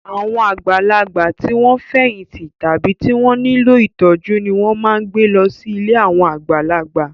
Àwọn àgbàlagbà tí wọ́n ti fẹ̀yìntì tàbí tí wọ́n nílò ìtọ́jú ni wọ́n máa ń gbà sí ilé àwọn àgbàlagbà.